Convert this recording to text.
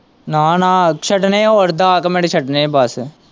ਨਾ-ਨਾ ਛੱਡਣੇ ਹੋਰ ਦੱਸ ਕ ਮਿੰਟ ਛੱਡਣੇ ਬਸ।